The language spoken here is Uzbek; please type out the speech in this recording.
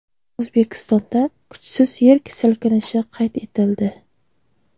O‘zbekistonda kuchsiz yer silkinishi qayd etildi.